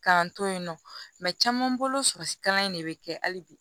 K'an to yen nɔ caman bolo sikalan in de bɛ kɛ hali bi